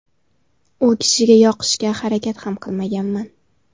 U kishiga yoqishga harakat ham qilmaganman.